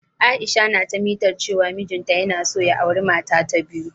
Aisha na ta mitar cewa mijin ta yana so ya auri mata ta biyu.